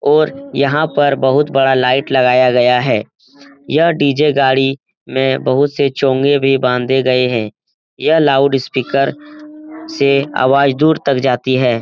और यहाँ बहुत बड़ा लाइट लगाया गया है यह डी.जे. गाड़ी में बहुत से चोंगे भी बांधे गए हैं यह लाउडस्पीकर से आवाज़ दूर तक जाती है ।.